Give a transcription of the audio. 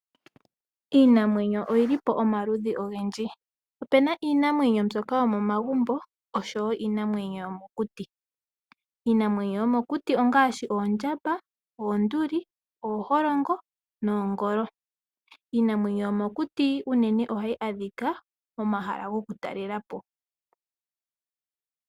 Iinamwenyo oyi li po omaludhi ogendji. Ope na iinamwenyo mbyoka yomomagumbo, osho wo iinamwenyo yomokuti. Iinamwenyo yomokuti ongaashi oondjamba, oonduli ooholongo noongolo. Iinamwenyo yomokuti unene ohayi adhika momahala gokutalela po.